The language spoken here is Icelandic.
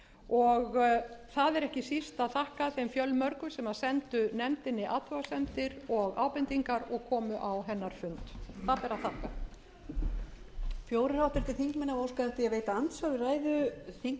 og það er ekki síst að þakka þeim fjölmörgu sem sendu nefndinni athugasemdir og ábendingar og komu á hennar fund það ber að þakka